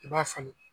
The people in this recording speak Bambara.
I b'a falen